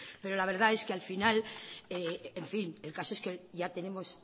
pero la verdad es que al final en fin el caso es que ya tenemos